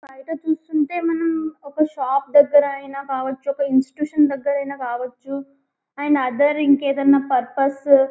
బయట కూర్చుంటే మనం ఒక షాప్ దగ్గరైన కావొచ్చు ఒక ఇన్స్టిట్యూషన్ దగ్గరైనా కావొచ్చు అండ్ అథర్ ఇంకేదైనా పర్పస్ --